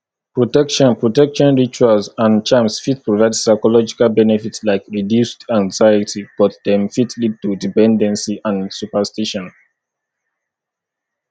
protection protection rituals and charms fit provide psychological benefit like reduced anxiety but dem fit lead to dependency and superstition